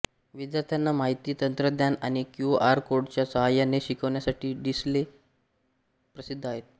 विद्यार्थ्यांना माहिती तंत्रज्ञान आणि क्यूआर कोडच्या सहाय्याने शिकवण्यासाठी डिसले प्रसिद्ध आहेत